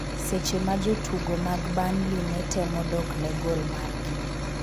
seche ma jotugo mag Burnley ne temo dok ne gol margi